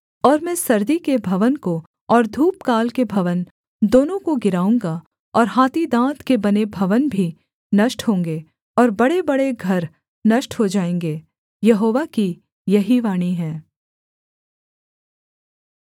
और मैं सर्दी के भवन को और धूपकाल के भवन दोनों को गिराऊँगा और हाथी दाँत के बने भवन भी नष्ट होंगे और बड़ेबड़े घर नष्ट हो जाएँगे यहोवा की यही वाणी है